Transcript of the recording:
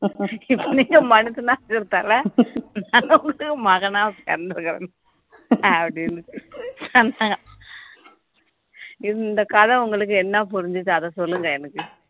மகனா பிறந்துருகிறேன் அப்படின்னு இந்த கதை உங்களுக்கு என்ன புரிஞ்சுது அத சொல்லுங்க எனக்கு